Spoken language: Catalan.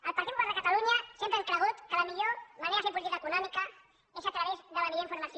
el partit popular de catalunya sempre hem cregut que la millor manera de fer política econòmica és a través de la millor informació